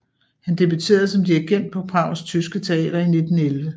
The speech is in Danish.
Han debuterede som dirigent på Prags Tyske Teater i 1911